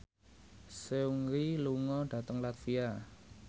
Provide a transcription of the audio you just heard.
Seungri lunga dhateng latvia